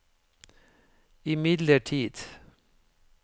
imidlertid